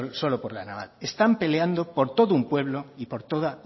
solo por la naval están peleando por todo un pueblo y por toda